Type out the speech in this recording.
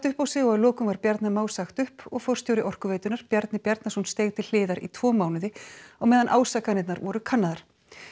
upp á sig og að lokum var Bjarna Má sagt upp og forstjóri Orkuveitunnar Bjarni Bjarnason steig til hliðar í tvo mánuði á meðan ásakanirnar voru kannaðar